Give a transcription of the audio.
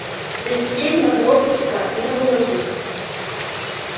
за исключением одного пустяка не было руды